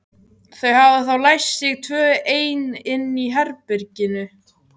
Þau hafa þá læst sig tvö ein inni í herberginu.